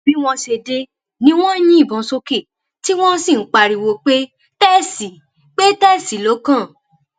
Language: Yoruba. bí wọn ṣe dé ni wọn ń yìnbọn sókè tí wọn sì ń pariwo pé tẹsì pé tẹsì ló kàn